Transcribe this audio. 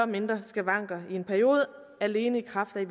mindre skavanker i en periode alene i kraft af at